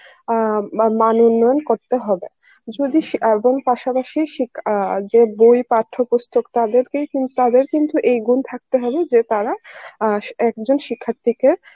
আ মা~ মনোনয়ন করতে হবে যদি সে~ এবং পাশাপাশি সিক~ আ যে বই পাঠ্যপুস্তক তাদেরকেই কিন~ তাদের কিন্তু এই গুণ থাকতে হবে যে তারা আ একজন শিক্ষার্থীকে